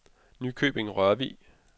Nykøbing-Rørvig